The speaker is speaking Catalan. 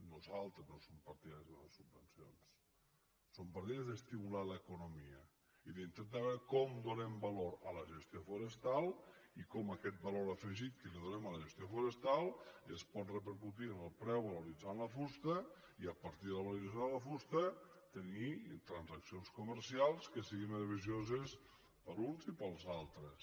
nosaltres no som partidaris de donar subvencions som partidaris d’estimular l’economia i d’intentar veure com donem valor a la gestió forestal i com aquest valor afegit que donem a la gestió forestal es pot repercutir en el preu valoritzant la fusta i a partir de la valorització de la fusta tenir transaccions comercials que siguin beneficioses per a uns i per als altres